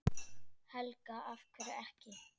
Helga: Af hverju ekki?